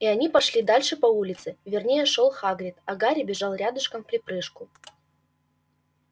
и они пошли дальше по улице вернее шёл хагрид а гарри бежал рядышком вприпрыжку